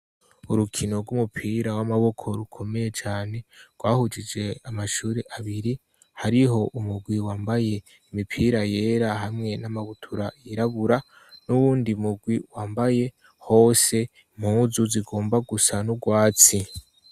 Urukino rw'umupira w'amaboko rukomeye cane rwahujije amashuri abiri hariho umugwi wambaye imipira yera hamwe n'amabutura yirabura n'uwundi mugwi wambaye hose impuzu zigomba gusa n'urwatsi.